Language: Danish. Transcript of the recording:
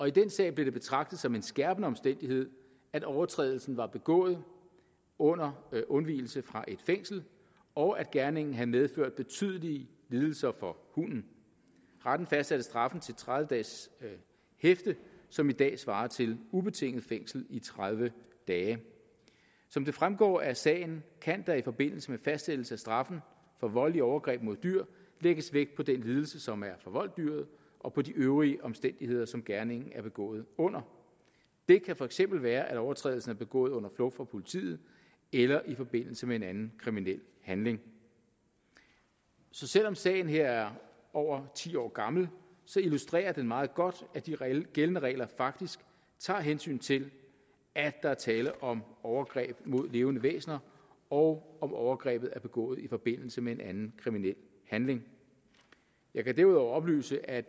i den sag blev det betragtet som en skærpende omstændighed at overtrædelsen var begået under undvigelse fra et fængsel og at gerningen havde medført betydelige lidelser for hunden retten fastsatte straffen til tredive dages hæfte som i dag svarer til ubetinget fængsel i tredive dage som det fremgår af sagen kan der i forbindelse med fastsættelse af straffen for voldelige overgreb mod dyr lægges vægt på den lidelse som er forvoldt dyret og på de øvrige omstændigheder som gerningen er begået under det kan for eksempel være at overtrædelsen er begået under flugt fra politiet eller i forbindelse med en anden kriminel handling så selv om sagen her er over ti år gammel illustrerer den meget godt at de gældende regler faktisk tager hensyn til at der er tale om overgreb mod levende væsener og om overgrebet er begået i forbindelse med en anden kriminel handling jeg kan derudover oplyse at